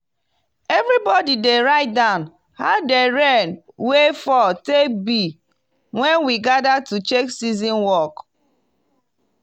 everybody dey write down how de rain wey fall take be when we gather to check season work..